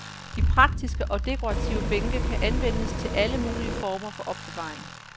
De praktiske og dekorative bænke kan anvendes til alle mulige former for opbevaring.